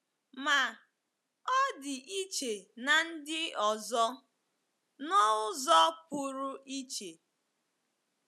Ma, ọ dị iche na ndi ọzọ, n’ụzọ pụrụ iche.